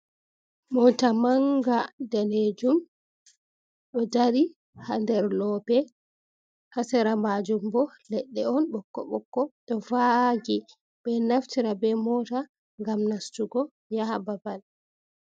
Mota manga danejum ɗo dari ha nder loope hasera majum bo leɗɗe on ɓokko-ɓokko ɗo vagi, ɓeɗo naftira be mota ngam nastugo yaha babal.